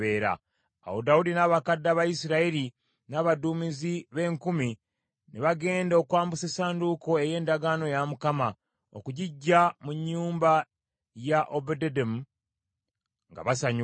Awo Dawudi n’abakadde aba Isirayiri, n’abaduumizi b’enkumi ne bagenda okwambusa essanduuko ey’endagaano ya Mukama okugiggya mu nnyumba ya Obededomu nga basanyuka.